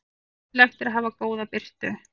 Nauðsynlegt er að hafa góða birtu.